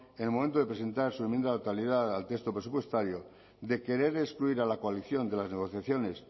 en el momento de presentar su enmienda de totalidad al texto presupuestario de querer excluir a la coalición de las negociaciones